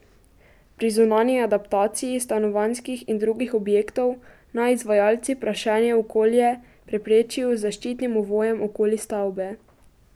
Pri zunanji adaptaciji stanovanjskih in drugih objektov naj izvajalci prašenje v okolje preprečijo z zaščitnim ovojem okoli stavbe.